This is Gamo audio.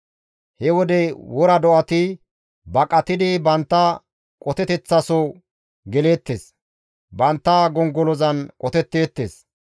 He wode wora do7ati, baqatidi bantta qoteteththaso geleettes; bantta gongolozan qoteteettes.